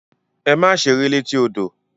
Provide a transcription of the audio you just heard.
Ẹ̀mà sẹ̀rẹ̀ lẹ̀tí ọdọ!